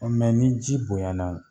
O ni ji bonya na